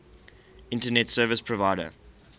internet service provider